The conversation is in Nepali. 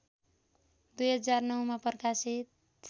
२००९मा प्रकाशित